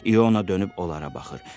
İona dönüb onlara baxır.